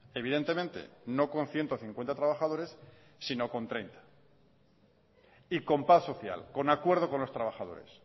evidentemente no con ciento cincuenta trabajadores sino con treinta y con paz social con acuerdo con los trabajadores